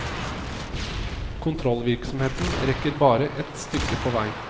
Kontrollvirksomheten rekker bare et stykke på vei.